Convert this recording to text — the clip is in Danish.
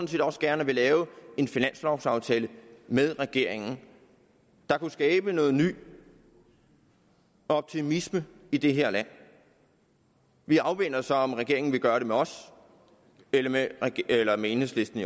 vil også gerne lave en finanslovaftale med regeringen der kunne skabe noget ny optimisme i det her land vi afventer så om regeringen vil gøre det med os eller med eller med enhedslisten